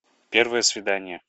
первое свидание